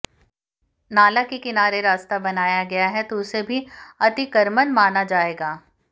नाला के किनारे रास्ता बनाया गया है तो उसे भी अतिक्रमण माना जाएगा